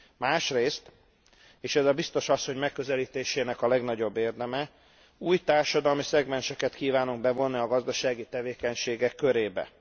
Másrészt és ez a biztos asszony megközelítésének legnagyobb érdeme új társadalmi szegmenseket kívánunk bevonni a gazdasági tevékenységek körébe.